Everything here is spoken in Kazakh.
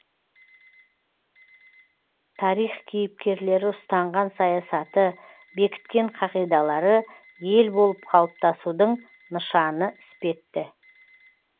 тарих кейіпкерлері ұстанған саясаты бекіткен қағидалары ел болып қалыптасудың нышаны іспетті